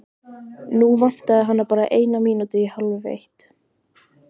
Nú vantaði hana bara eina mínútu í hálfeitt.